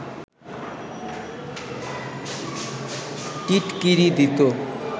টিটকিরি দিত